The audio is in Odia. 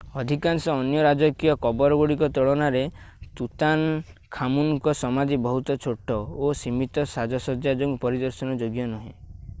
ଅଧିକାଂଶ ଅନ୍ୟ ରାଜକୀୟ କବରଗୁଡ଼ିକ ତୁଳନାରେ ତୁତାନଖାମୁନଙ୍କ ସମାଧି ବହୁତ ଛୋଟ ଓ ସୀମିତ ସାଜସଜ୍ଜା ଯୋଗୁଁ ପରିଦର୍ଶନ ଯୋଗ୍ୟ ନୁହେଁ